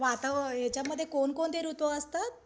वातावरण अ यांच्यामध्ये कोणकोणते ऋतू असतात?